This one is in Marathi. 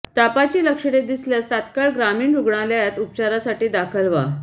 तापाची लक्षणे दिसल्यास तात्काळ ग्रामीण रुग्णालयात उपचारासाठी दाखल व्हा